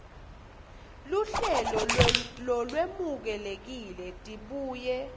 luhlelo lolwemukelekile tibuye